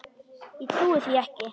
Ég trúi því ekki!